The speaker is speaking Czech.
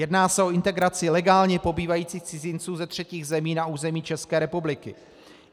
Jedná se o integraci legálně pobývajících cizinců ze třetích zemí na území České republiky.